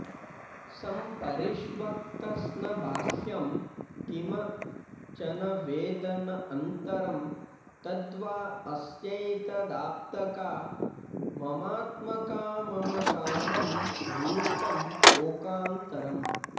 सम्परिष्वक्तस्न बाह्यम् किम् चन वेद न अन्तरं तद्वा अस्यैतदाप्तकाममात्मकाममकामं रूपम् शोकान्तरम्